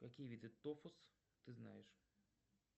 какие виды тофус ты знаешь